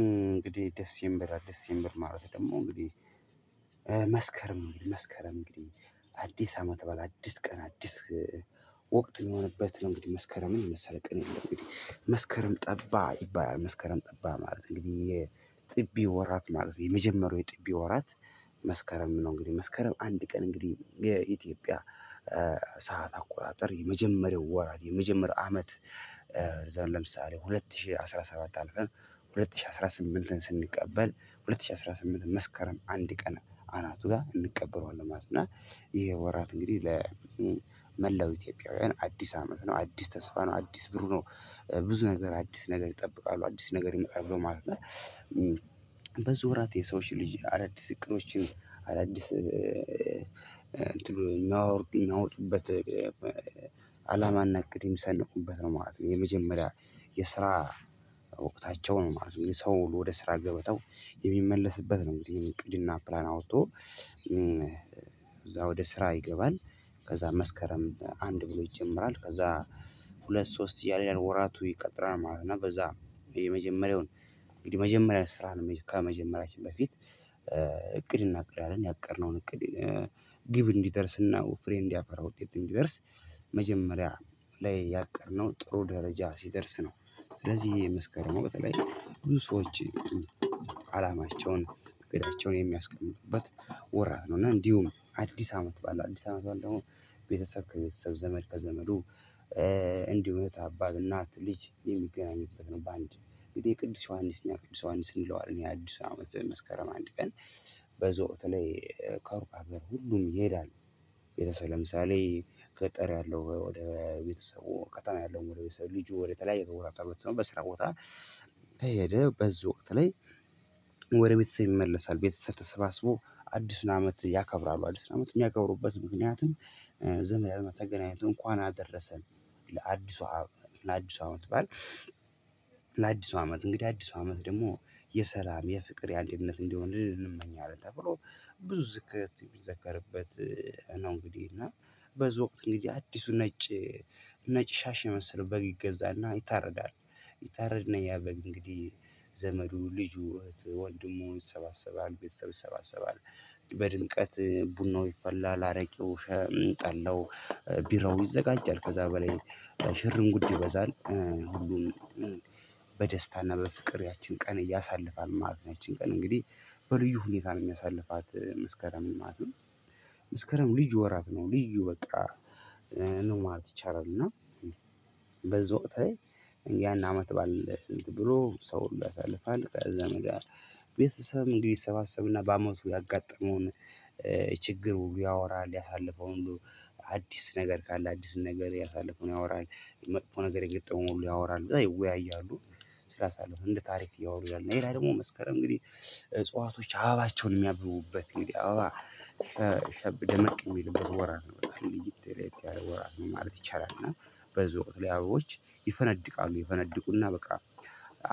እንግዲህ ድሴምበር አዲስ ድሴምበር ማለት ደግሞ እንግዲህ መስከረም መስከረም እንግዲህ አዲስ አመት ባለው አዲስ ቀን አዲስ ወቅት የሚሆንበት ነው። እንግዲህ መስከረምን የመሰለ ቀን የለም። እንግዲህ መስከረም ጠባ ይባላል መስከረም ጠባ ማለት ነው። እንግዲህ የጥቢ ወራት ማለት ነው የመጀመሪያው የጥቢ ወራት። መስከረም ነው እንግዲህ መስከረም አንድ ቀን እንግዲህ የኢትዮጵያ ሰዓት አቆጣጠር የመጀመሪያው ወራት የመጀመሪያው አመት። ዘር ለምሳሌ ሁለት ሺህ አስራ ሰባት አልቀን ሁለት ሺህ አስራ ስምንትን ስንቀበል ሁለት ሺህ አስራ ስምንት መስከረም አንድ ቀን አናቱ ጋር እንቀበለዋለን ማለት ነው። እና ይሄ ወራት እንግዲህ ለመላው ኢትዮጵያውያን አዲስ አመት ነው አዲስ ተስፋ ነው አዲስ ብሩህ ነው። ብዙ ነገር አዲስ ነገር ይጠብቃሉ አዲስ ነገር ይመጣሉ ማለት ነው። ብዙ ወራት የሰዎች ልጅ አዳዲስ እቅዶችን አዳዲስ ሚያወርዱ ሚያወጡበት አላማ እና እቅድ የሚሰንቁበት ነው ማለት ነው። የመጀመሪያ የስራ ወቅታቸው ነው ማለት ነው። የሰውን ወደ ስራ ገበታው የሚመለስበት ነው ይሄን እቅድ እና ፕላን አውጥቶ እዛ ወደ ስራ ይገባል። ከዛ መስከረም አንድ ብሎ ይጀምራል ከዛ ሁለት ሶስት እያለ ያለ ወራቱ ይቀጥላል ማለት ነው። እና በዛ የመጀመሪያውን እንግዲህ የመጀመሪያ ስራ ነው ከመጀመሪያችን በፊት እቅድ እናቅዳለን ያለን ያቀድነውን እቅድ ግብ እንዲደርስና ፍሬ እንዲያፈራ ውጤት እንዲደርስ መጀመሪያ ላይ ያቀድነው ጥሩ ደረጃ ሲደርስ ነው። ስለዚህ ይሄ መስከረሙ በተለይ ብዙ ሰዎች አላማቸውን እቅዳቸውን የሚያስቀምጡበት ወራት ነው። እና እንዲሁም አዲስ አመት ባለው አዲስ አመት ባለው አሁን ቤተሰብ ከቤተሰብ ዘመድ ከዘመዱ እንዲሁ እህት አባት እናት ልጅ የሚገናኙበት ነው። በአንድ ቅዱስ ዮሐንስ እኛ ቅዱስ ዮሐንስ እንለዋለን የአዲስ አመት መስከረም አንድ ቀን። በዛህ ወቅት ላይ ከሩቅ ሀገር ሁሉም ይሄዳል። ቤተሰብ ለምሳሌ ገጠር ያለው ወደ ቤተሰቡ ከተማ ያለውም ወደ ቤተሰቡ ልጁ ወደተለያየ ወራጣ ልጅ ነው በስራ ቦታ። በሄደ በዚህ ወቅት ላይ ወደ ቤተሰብ ይመለሳል ቤተሰብ ተሰባስቦ አዲሱን አመት ያከብራሉ። አዲስ አመት የሚያከብሩበት ምክንያትም ዝም ብለው ተገናኝቶ እንኳን አደረሰን ለአዲሷ ለአዲሷ አመት በዓል። አመት እንግዲህ አዲሱ አመት ደግሞ የሰላም የፍቅር ያህል እምነት እንዲሆን ልንመኛለን ተብሎ ብዙ ዝክር የሚዘከርበት ነው። እንግዲህ እና በዛ ወቅት እንግዲህ አዲሱ ነጭ ነጭ ሻሽ የመሰለው በግ ይገዛና ይታረዳል። ይታረድ እና ያ በግ እንግዲህ ዘመዱ ልጁ ወንድሙ ይሰባሰባል ቤተሰብ ይሰባሰባል። በድምቀት ቡናው ይፈላል አረቄው ከጠላው ቢራው ይዘጋጃል ከዛ በላይ ሽርም ጉድ ይበዛል። ሁሉም በፍቅሬያችን ቀን ያሳልፋል ማለት ነው ያቺን ቀን እንግዲህ በልዩ ሁኔታ ነው የሚያሳልፋት መስከረም ማለት ነው። መስከረም ልዩ ወራት ነው ልዩ በቃ ነው ማለት ይቻላል። እና በዛ ወቅት ላይ ያን አመት ባዓል ብሎ ሰው ሁሉ ያሳልፋል። ከዛን ወድያ ቤተሰብም እንግዲህ ይሰባሰብ እና በአመቱ ያጋጠመውን ችግር ሁሉ ያወራል ያሳለፈውን ሁሉ አዲስ ነገር ካለ አዲስ ነገር ያሳለፈውን ያወራል መጥፎ ነገር የገጠመው ሁሉ ያወራል ይወያያሉ። ስራ ሳለው እንደ ታሪክ እያወሩ ይላል ሌላ ደግሞ መስከረም እንግዲህ እጽዋቶች አበባቸውን የሚያብቡበት እንግዲህ አበባ ሸብ ደመቅ የሚልበት ወራት ነው። ለየት ያለ ወራት ማለት ይቻላል። እና በዚህ ወቅት ላይ አበቦች ይፈነድቃሉ ይፈነድቁና በቃ